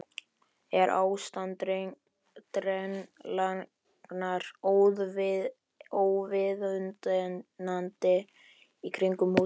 Er ástand drenlagnar óviðunandi í kringum húsið?